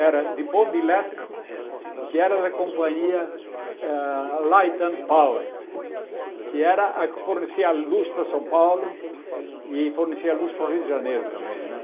era de bonde elétrico, que era da companhia ah Light and Power, que era a que fornecia luz para São Paulo e fornecia luz para o Rio de Janeiro também, né?